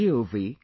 gov